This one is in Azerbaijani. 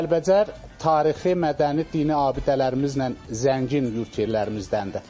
Kəlbəcər tarixi, mədəni, dini abidələrimizlə zəngin yurd yerlərimizdəndir.